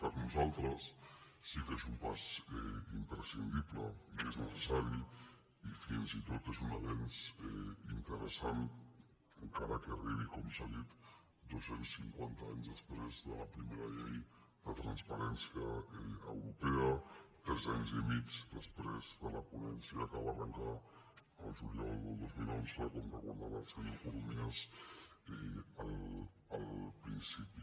per nosaltres sí que és un pas imprescindible i és necessari i fins i tot és un avenç interessant encara que arribi com s’ha dit dos cents i cinquanta anys després de la primera llei de transparència europea tres anys i mig després de la ponència que va arrencar el juliol del dos mil onze com recordava el senyor corominas al principi